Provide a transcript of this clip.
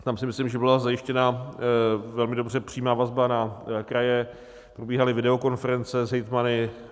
Tam si myslím, že byla zajištěna velmi dobře přímá vazba na kraje, probíhaly videokonference s hejtmany.